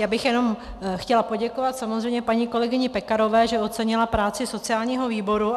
Já bych jenom chtěla poděkovat samozřejmě paní kolegyni Pekarové, že ocenila práci sociálního výboru.